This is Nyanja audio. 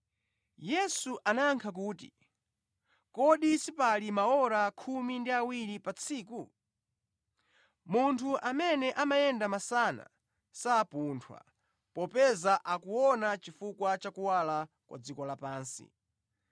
Yesu anayankha kuti, “Kodi sipali maora khumi ndi awiri pa tsiku? Munthu amene amayenda masana sapunthwa, popeza akuona chifukwa cha kuwala kwa dziko lapansi.